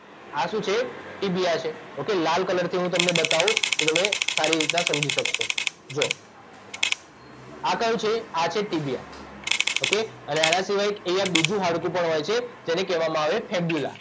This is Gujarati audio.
આ શું છે ટીબીયા છે ઓકે લાલ કલરથી હું તમને બતાઉં તો તમે સારી રીતના સમજી શક્શો જુઓ આ કયું છે આ છે ટીબીયા ઓકે અને આના સિવાય એક અહીંયા એક બીજું હાડકું પણ હોય છે જેને કહેવામાં આવે ફીબ્યુલા